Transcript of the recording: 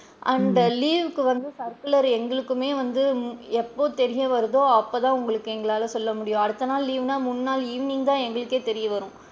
And leave க்கு வந்து circular எங்களுக்குமே வந்து எப்போ தெரிய வருதோ அப்ப தான் உங்களுக்கு எங்களால சொல்ல முடியும் அடுத்த நாள் leave னா முன் நாள் evening தான் எங்களுக்கே தெரிய வரும்.